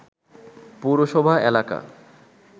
পৌরসভা এলাকা